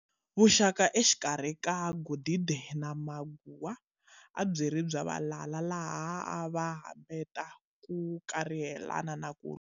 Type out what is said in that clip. Vuxaka exikarhi ka Godide na Maguwa, abyiri bya valala, laha avahambeta ku kurihelana na ku lwa.